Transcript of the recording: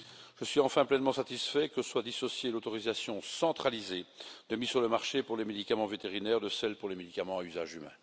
Je suis enfin pleinement satisfait que soit dissociée l'autorisation centralisée de mise sur le marché pour les médicaments vétérinaires de celle pour les médicaments à usage humain.